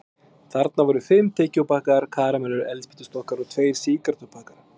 Þarna voru fimm tyggjópakkar, karamellur, eldspýtustokkar og tveir sígarettupakkar.